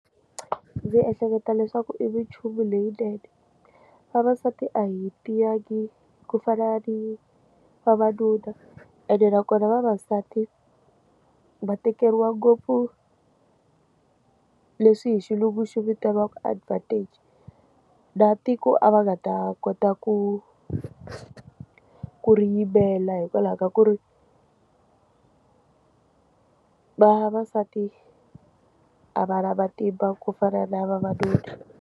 Ndzi ehleketa leswaku i minchumu leyinene vavasati a hi tiyangi ku fana ni vavanuna ene nakona vavasati va tekeriwa ngopfu leswi hi xilungu xo vitaniwaka advantage na tiko a va nga ta kota ku ku ri yimela hikwalaho ka ku ri ku vavasati a va na matimba ku fana na vavanuna.